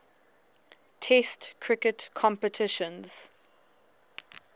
test cricket competitions